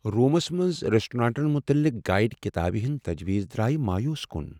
Rooms منٛز ریسٹورینٹن متعلق گایڈ کتابہ ہندۍ تجویز درایہ مایوس کُن۔